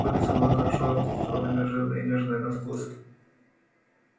курица была хорошо откормленная жирная и нежная на вкус